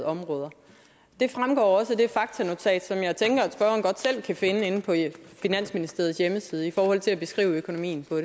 områder det fremgår også af det faktanotat som jeg tænker at spørgeren godt selv kan finde inde på finansministeriets hjemmeside i forhold til at beskrive økonomien på